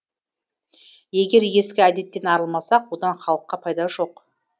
егер ескі әдеттен арылмасақ одан халыққа пайда жоқ